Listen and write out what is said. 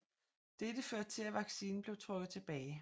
Dette førte til at vaccinen blev trukket tilbage